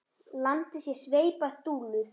Landið sé sveipað dulúð.